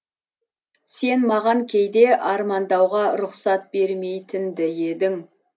сен маған кейде армандауға рұқсат бермейтінді едің